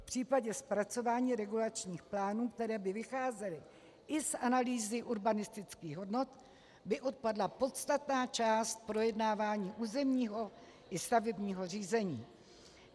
V případě zpracování regulačních plánů, které by vycházely i z analýzy urbanistických hodnot, by odpadla podstatná část projednávání územního i stavebního řízení.